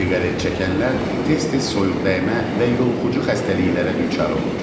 Siqaret çəkənlər tez-tez soyuqdəymə və yoluxucu xəstəliklərə düçar olur.